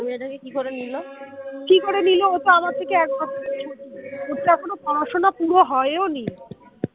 কি করে নিল বল ওতো আমার থেকে এক বছরের ছোট ওর তো এখনো পড়াশোনা পুরো হয়ো নি